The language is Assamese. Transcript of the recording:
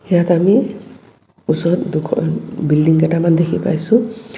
ইয়াত আমি ওচৰত দুখন বিল্ডিঙ কেইটামান দেখি পাইছোঁ.